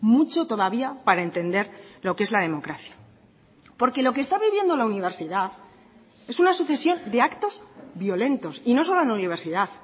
mucho todavía para entender lo que es la democracia porque lo que está viviendo la universidad es una sucesión de actos violentos y no solo en la universidad